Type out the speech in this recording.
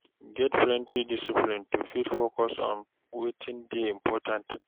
Get plenty discipline to fit focus on wetin dey important